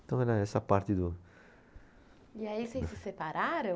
Então era essa a parte do. E aí vocês se separaram?